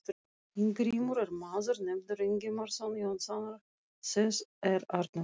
Ingimundur er maður nefndur Ingimundarson Jónssonar, þess er Arnór